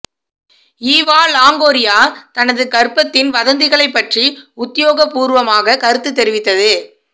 Eva Longoria தனது கர்ப்பத்தின் வதந்திகளைப் பற்றி உத்தியோகபூர்வமாக கருத்து தெரிவித்தது